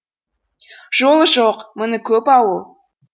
жолы жоқ мұңы көп ауыл